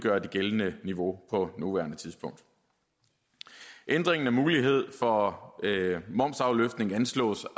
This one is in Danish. er det gældende niveau på nuværende tidspunkt ændringen af muligheden for momsafløftning anslås